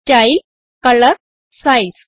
style colour size